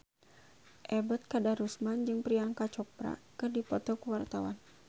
Ebet Kadarusman jeung Priyanka Chopra keur dipoto ku wartawan